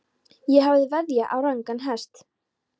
Ég hafði veðjað á rangan hest.